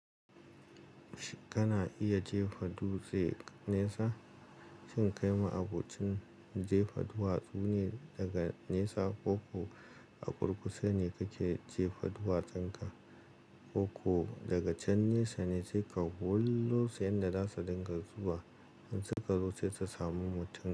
Shin kana iya jefa dutse nesa. Shin kai ma abocin jefa duwatsu ne daga nesa ko ko a ƙurƙushe ne kake jefa duwatsanka? Ko ko daga can nesa ne sai ka wullo shi yadda za su dinga zuwa, in suka zo sai ta samu mutum.